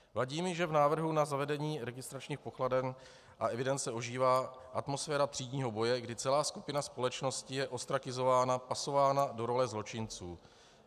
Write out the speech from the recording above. Vadí mi, že v návrhu na zavedení registračních pokladen a evidence ožívá atmosféra třídního boje, kdy celá skupina společnosti je ostrakizována, pasována do role zločinců.